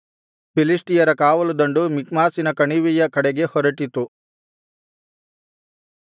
ಫಿಲಿಷ್ಟಿಯರ ಕಾವಲುದಂಡು ಮಿಕ್ಮಾಷಿನ ಕಣಿವೆಯ ಕಡೆಗೆ ಹೊರಟಿತು